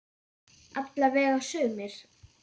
Alla vega sumir.